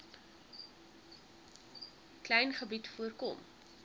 klein gebied voorkom